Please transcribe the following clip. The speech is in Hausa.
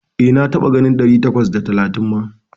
E, na taɓa ganin ɗari takwas da talatin ma.